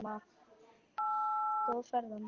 Góða ferð, amma.